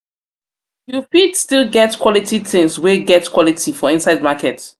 you fit still get quality tins wey get quality for inside market.